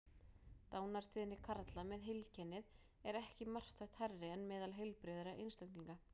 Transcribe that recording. Dánartíðni karla með heilkennið er ekki marktækt hærri en meðal heilbrigðra einstaklinga.